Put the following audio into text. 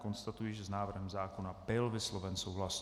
Konstatuji, že s návrhem zákona byl vysloven souhlas.